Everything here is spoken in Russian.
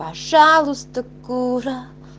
пожалуйста кура